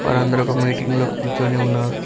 వారందరు ఒక మీటింగ్లో కూర్చోని ఉన్నారు.